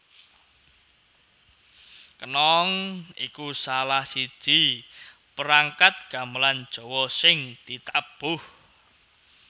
Kenong iku salahsiji perangkat gamelan Jawa sing ditabuh